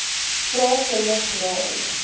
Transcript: vra kinders raai